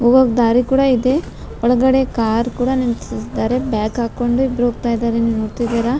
ಹೋಗೋಕ್ ದಾರಿ ಕೂಡ ಇದೆ ಒಳ್ಗಡೆ ಕಾರ್ ಕೂಡ ನಿಲ್ಸಿದ್ದಾರೆ ಬ್ಯಾಗ್ ಹಾಕೊಂಡು ಇಬ್ರು ಹೋಗ್ತಾ ಇದ್ದಾರೆ ನೀವು ನೋಡ್ತಿದ್ದೀರಾ. .